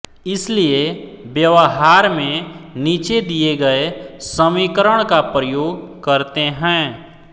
इसलिए व्यवहार में नीचे दिए गए समीकरण का प्रयोग करते हैं